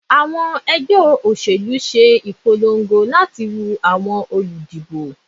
Awọn ẹgbẹ oselu ṣe awọn ipolongo lati woo awọn oludibo.